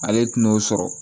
Ale tɛna n'o sɔrɔ